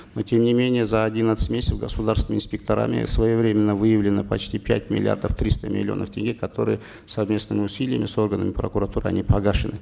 но тем не менее за одиннадцать месяцев государственными инспекторами своевременно выявлено почти пять миллиардов триста миллионов тенге которые совместными усилиями с органами прокуратуры они погашены